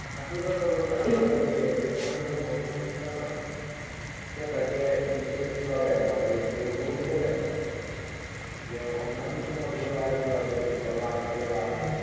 আসল কথা বলতে আমাদের যে তোমাদের যে হবিগঞ্জ টা না। সেটাকে বিশেষভাবে ওরা কেউ গুরুত্ব দেয় না। অন্যান্য শহরগুলো যেভাবে লালকেল্লা।